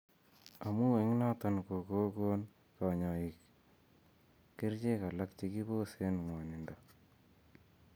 Amun eng' noton kokogon kanyoik kerchek alak chekiboseen ng'wonindo